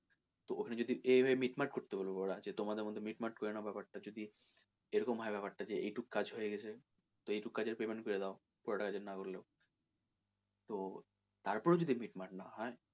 তো ওখানে যদি এ, এ মিটমাট করতে বলবে ওরা যে তোমাদের মধ্যে মিটমাট করে নাও ব্যাপার টা যদি এরকম হয় ব্যাপার টা যে এই টুকু কাজ হয়ে গেছে তো এইটুকু কাজের payment করে দাও পুরোটা কাজের না করলেও তো তারপরেও যদি মিটমাট না হয়,